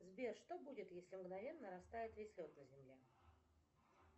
сбер что будет если мгновенно растает весь лед на земле